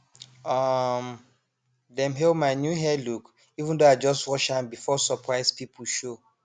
um dem hail my new hair look even though i just rush am before surprise people show